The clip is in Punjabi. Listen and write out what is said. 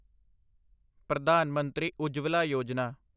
ਪ੍ਰਧਾਨ ਮੰਤਰੀ ਉੱਜਵਲਾ ਯੋਜਨਾ